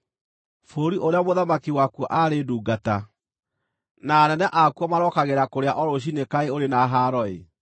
Bũrũri ũrĩa mũthamaki wakuo aarĩ ndungata, na anene akuo marokagĩra kũrĩa o rũciinĩ kaĩ ũrĩ na haaro-ĩ!